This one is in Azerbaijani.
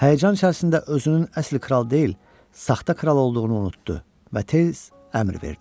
Həyəcan içərisində özünün əsl kral deyil, saxta kral olduğunu unutdu və tez əmr verdi.